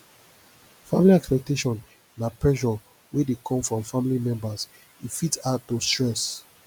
family expectation na pressure wey dey come from family members e fit add to stress